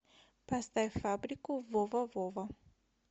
поставь фабрику вова вова